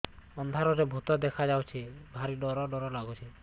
ଅନ୍ଧାରରେ ଭୂତ ଦେଖା ଯାଉଛି ଭାରି ଡର ଡର ଲଗୁଛି